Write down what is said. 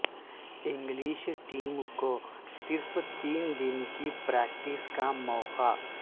English team کو صرف تین دن کی پریکٹس کا موقع